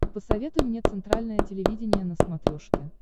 посоветуй мне центральное телевидение на смотрешке